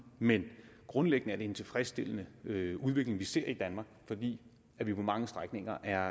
men grundlæggende er det en tilfredsstillende udvikling vi ser i danmark fordi vi på mange strækninger er